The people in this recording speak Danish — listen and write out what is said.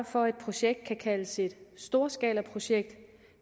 for at et projekt kan kaldes et storskalaprojekt